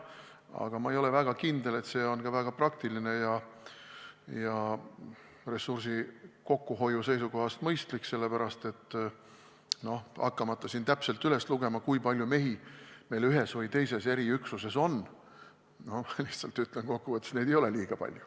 Aga ma ei ole väga kindel, et see on väga praktiline ja ressursi kokkuhoiu seisukohast mõistlik, sellepärast, et lugemata siin täpselt üles, kui palju mehi meil ühes või teises eriüksuses on, ütlen lihtsalt kokku võttes, et neid ei ole liiga palju.